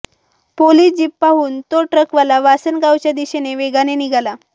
police jeep पाहून तो ट्रकवाला वासनगावच्या दिशेने वेगाने निघाला